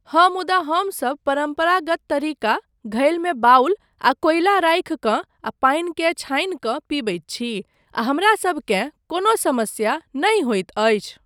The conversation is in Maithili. हाँ मुदा हमसब परम्परागत तरीका, घैलमे बालू आ कोयला राखि कऽ आ पानिकेँ छानि कऽ पिबैत छी आ हमरासबकेँ कोनो समस्या नहि होइत अछि।